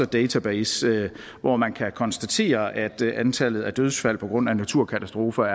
database hvor man kan konstatere at antallet af dødsfald på grund af naturkatastrofer